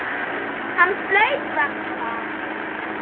Hann flaut varla.